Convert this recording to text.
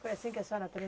Foi assim que a senhora